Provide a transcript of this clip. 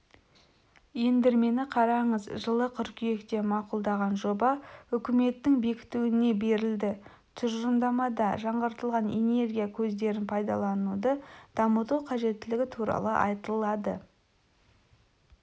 ендірмені қараңыз жылы қыркүйекте мақұлдаған жоба үкіметтің бекітуіне берілді тұжырымдамада жаңғыртылатын энергия көздерін пайдалануды дамыту қажеттілігі туралы айтылады